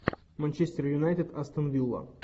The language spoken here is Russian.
манчестер юнайтед астон вилла